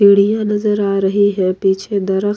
सीढ़ियां नजर आ रही है पीछे दरख --